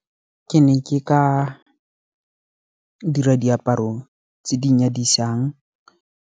Ke ne ke ka dira diaparo tse di nyadisang.